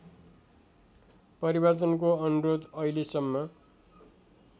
परिवर्तनको अनुरोध अहिलेसम्म